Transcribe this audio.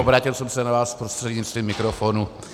Obrátil jsem se na vás prostřednictvím mikrofonu.